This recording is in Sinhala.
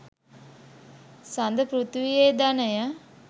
සඳ පෘථීවියේ ධනය